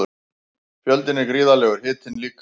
Fjöldinn er gríðarlegur, hitinn líka.